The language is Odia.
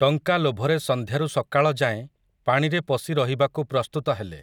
ଟଙ୍କା ଲୋଭରେ ସଂନ୍ଧ୍ୟାରୁ ସକାଳ ଯାଏଁ ପାଣିରେ ପଶି ରହିବାକୁ ପ୍ରସ୍ତୁତ ହେଲେ ।